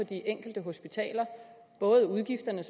de enkelte hospitaler både udgifterne